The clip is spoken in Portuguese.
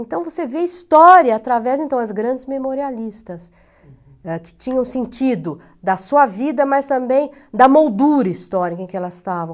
Então, você vê história através então das grandes memorialistas, uhum, né, que tinham sentido da sua vida, mas também da moldura histórica em que elas estavam.